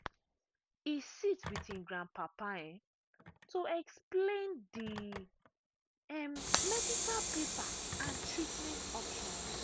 e sit with him grandpapa um to explain the um medical paper and treatment options.